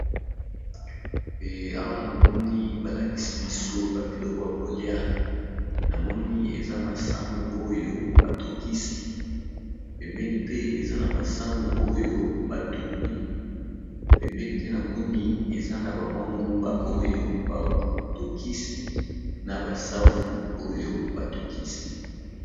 Pe awa namoni ba lakisi biso ba biloko ya kolia namoni eza masangu oyo ba tokisi, na masangu oyo ba tumbi, pembeni pe namoni eza na ba mwa nguba, oyo ba tokisi na ba safu oyo ba tokisi.